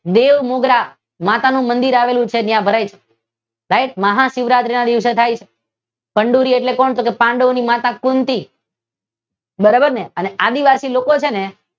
બેઉ મુદ્રા જ્યાં માતાનું મંદિર આવેલું છે માતાનું મંદિર આવેલું છે ત્યાં ભરાય છે સાહેબ મહા શિવરાત્રીના દિવસે થાય છે ચંદૂરી એટલે કોણ પાંડુઓની માતા કુંતી બરોબર ને અને આદીવાસી લોકો છે ને એ